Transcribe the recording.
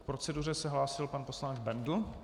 K proceduře se hlásil pan poslanec Bendl.